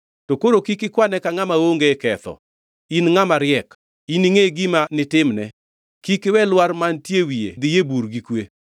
To koro kik ikwane ka ngʼama onge ketho. In ngʼama riek; iningʼe gima nitimne. Kik iwe lwar mantie e wiye dhi e bur gi kwe.